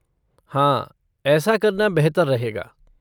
हाँ, ऐसा करना बेहतर रहेगा।